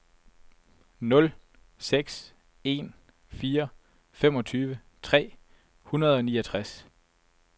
nul seks en fire femogtyve tre hundrede og niogtres